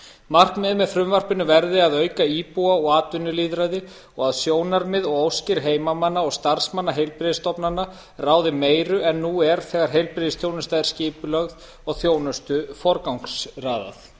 markmiðið með frumvarpinu verði að auka íbúa og atvinnulýðræði og að sjónarmið og óskir heimamanna og starfsmanna heilbrigðisstofnana ráði meiru en nú er þegar heilbrigðisþjónusta er skipulögð og þjónustu forgangsraðað